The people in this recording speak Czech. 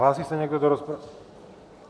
Hlásí se někdo do rozpravy?